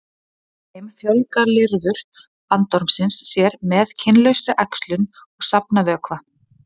Í þeim fjölga lirfur bandormsins sér með kynlausri æxlun og safna vökva.